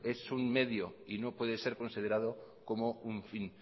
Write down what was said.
un medio y no puede ser considerado como un fin